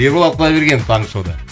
ерболат құдайберген таңғы шоуда